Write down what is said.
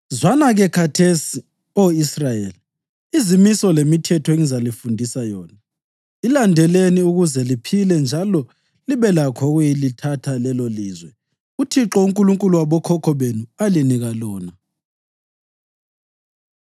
“Zwana-ke khathesi, Oh Israyeli, izimiso lemithetho engizalifundisa yona. Ilandeleni ukuze liphile njalo libe lakho ukuyalithatha lelolizwe uThixo uNkulunkulu wabokhokho benu alinika lona.